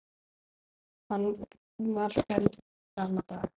Hann var felldur sama dag.